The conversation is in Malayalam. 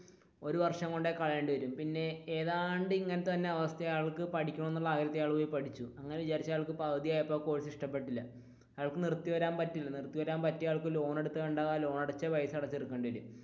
ഒരു വര്ഷം കൊണ്ടുപോയി കളയേണ്ടി വരും പിന്നെ ഏതാണ്ട് ഇങ്ങനത്തെ തന്നെ അവസ്ഥ അയാൾക്ക് പഠിക്കണം എന്നുള്ള ആഗ്രഹത്തിൽ അയാൾ പോയി പഠിച്ചു അങ്ങനെ വിചാരിച്ചു പകുതിയായപ്പോൾ അയാൾക്ക് കോഴ്സ് ഇഷ്ടപ്പെട്ടില്ല അയാൾക് നിർത്തി വരാൻ പറ്റില്ല നിർത്തി വരാൻ അയാൾക്ക് ലോൺ എടുത്ത പൈസ തിരിച്ചടക്കേണ്ടി വരും.